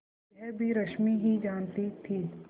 यह भी रश्मि ही जानती थी